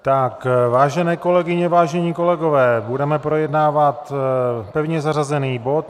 Vážené kolegyně, vážení kolegové, budeme projednávat pevně zařazený bod